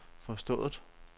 forstået